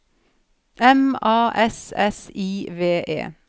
M A S S I V E